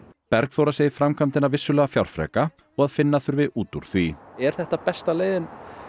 Bergþóra segir framkvæmdina vissulega fjárfreka og að finna þurfi út úr því er þetta besta leiðin